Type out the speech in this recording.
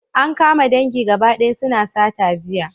An kama dangi gaba daya suna sata jiya